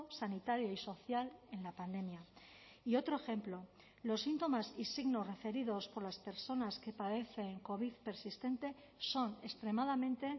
sanitario y social en la pandemia y otro ejemplo los síntomas y signos referidos por las personas que padecen covid persistente son extremadamente